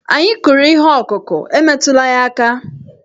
Anyị kụrụ ihe ọkụkụ, e metụla ya aka!